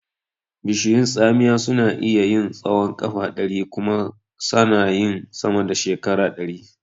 Bishiyun tsamiya suna iya yin tsahon ƙafa ɗari kuma sana yin sama da shekara ɗari.